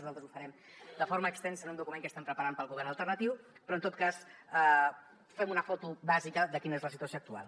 nosaltres ho farem de forma extensa en un document que estem preparant per al govern alternatiu però en tot cas fem una foto bàsica de quina és la situació actual